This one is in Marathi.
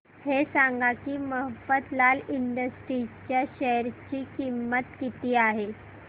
हे सांगा की मफतलाल इंडस्ट्रीज च्या शेअर ची किंमत किती आहे